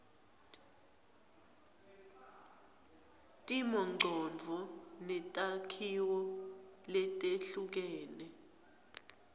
timongcondvo netakhiwo letehlukene